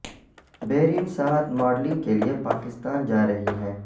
بیرین ساعت ماڈلنگ کے لئے پاکستان جا رہی ہیں